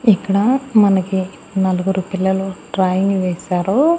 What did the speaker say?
ఇక్కడ మనకి నలుగురు పిల్లలు డ్రాయింగ్ వేశారు.